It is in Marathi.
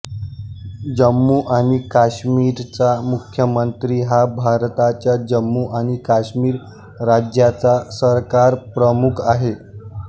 जम्मू आणि काश्मीरचा मुख्यमंत्री हा भारताच्या जम्मू आणि काश्मीर राज्याचा सरकारप्रमुख आहे